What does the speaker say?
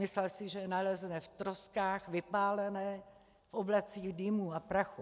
Myslel si, že ho nalezne v troskách, vypálené, v oblacích dýmu a prachu.